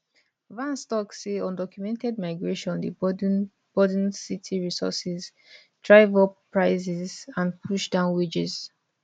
vance tok say undocumented migration dey burden burden city resources drive up prices and push down wages